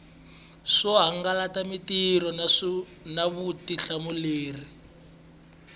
swo hangalasa mitirho na vutihlamuleri